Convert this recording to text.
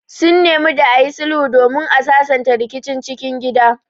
Sun nemi da ayi sulhu domin a sasanta rikicin cikin gida